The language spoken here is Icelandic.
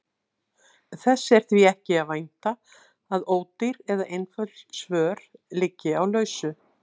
Þess er því ekki að vænta að ódýr eða einföld svör liggi á lausu.